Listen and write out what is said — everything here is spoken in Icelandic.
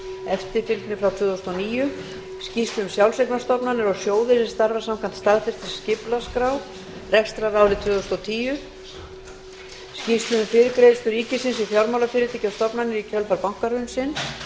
eftirfylgni frá tvö þúsund og níu skýrslu um sjálfseignarstofnanir og sjóði sem starfa samkvæmt staðfestri skipulagsskrá fyrir rekstrarárið tvö þúsund og tíu skýrslu um fyrirgreiðslu ríkisins við fjármálafyrirtæki og stofnanir í kjölfar bankahrunsins